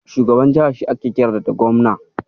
Shugaban jiha shi ake kira da Gobna.